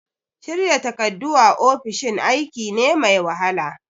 Shirya takardu a ofishin aiki ne mai wahala.